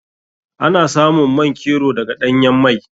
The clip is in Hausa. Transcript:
Ana samun man kero daga ɗanyan mai.